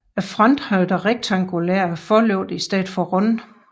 Fronten havde dog rektangulære forlygter i stedet for runde